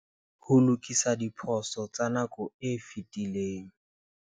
Ho lokisa diphoso tsa nako e fetileng.